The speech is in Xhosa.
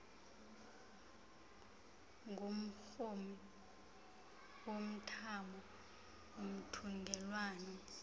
ngumrhumo womthamo wothungelwano